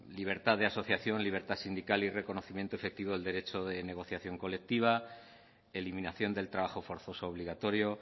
libertad de asociación libertad sindical y reconocimiento efectivo del derecho de negociación colectiva eliminación del trabajo forzoso obligatorio